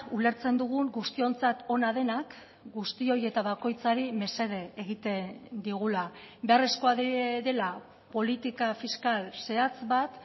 ulertzen dugun guztiontzat ona denak guztioi eta bakoitzari mesede egiten digula beharrezkoa dela politika fiskal zehatz bat